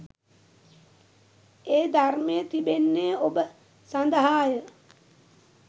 ඒ ධර්මය තිබෙන්නේ ඔබ සඳහා ය